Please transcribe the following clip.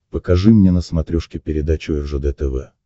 покажи мне на смотрешке передачу ржд тв